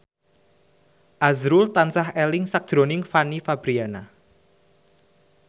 azrul tansah eling sakjroning Fanny Fabriana